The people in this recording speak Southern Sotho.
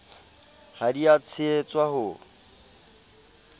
ha di a tshehetswa ho